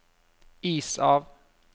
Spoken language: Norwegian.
is av